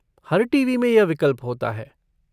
हर TV. में यह विकल्प होता है।